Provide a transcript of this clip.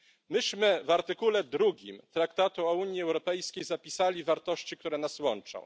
Myśmy w artykule drugim Traktatu o Unii Europejskiej zapisali wartości, które nas łączą.